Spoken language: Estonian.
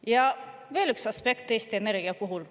Ja veel üks aspekt Eesti Energia puhul.